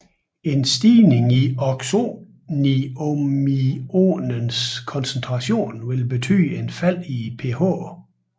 En stigning i oxoniumionens koncentration vil betyde et fald i pH